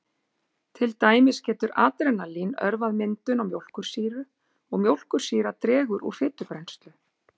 Til dæmis getur adrenalín örvað myndun á mjólkursýru og mjólkursýra dregur úr fitubrennslu.